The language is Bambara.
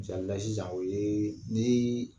Misali la sisan o ye ni